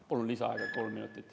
Palun lisaaega kolm minutit.